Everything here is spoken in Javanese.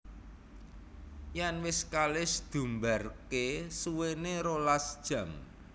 Yèn wis kalis diumbarké suwéné rolas jam